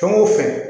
Fɛn o fɛn